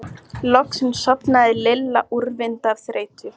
Loksins sofnaði Lilla úrvinda af þreytu.